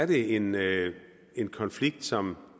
det en en konflikt som